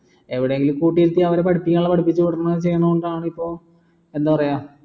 എവിടെയെങ്കിലും കൂട്ടിയിരുത്തി അവരെ പഠിപ്പിക്കാനുള്ള പഠിപ്പിച്ചു കൊടുക്കുന്ന ചെയ്യുന്നതുകൊണ്ടാണ് ഇപ്പൊ എന്താ പറയാ